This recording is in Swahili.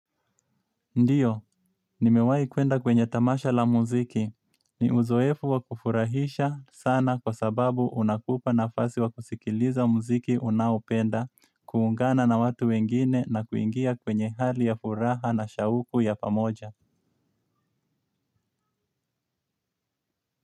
Ndiyo, nimewahi kwenda kwenye tamasha la muziki. Ni uzoefu wa kufurahisha sana kwa sababu unakupa nafasi wa kusikiliza muziki unaopenda, kuungana na watu wengine na kuingia kwenye hali ya furaha na shauku ya pamoja.